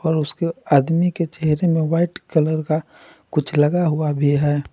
और उसके आदमी के चेहरे में वाइट कलर का कुछ लगा हुआ भी है।